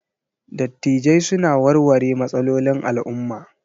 Dattijai suna warware matsalolin al'umma.